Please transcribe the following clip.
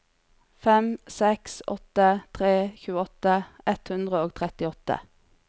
fem seks åtte tre tjueåtte ett hundre og trettiåtte